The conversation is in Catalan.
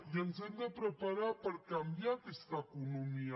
i ens hem de preparar per canviar aquesta economia